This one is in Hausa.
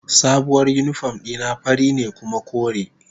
Sabuwar uniform dina fari ne kuma kore.